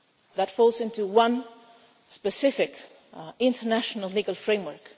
That falls into one specific international legal framework.